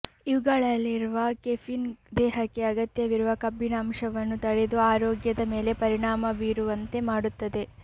ಇವುಗಳಲ್ಲಿರುವ caffeine ದೇಹಕ್ಕೆ ಅಗತ್ಯವಿರುವ ಕಬ್ಬಿಣಾಂಶವನ್ನು ತಡೆದು ಆರೋಗ್ಯದ ಮೇಲೆ ಪರಿಣಾಮ ಬೀರುವಂತೆ ಮಾಡುತ್ತದೆ